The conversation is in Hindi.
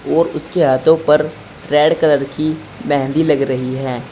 और इसके हाथों पर रेड कलर की मेहंदी लग रही है।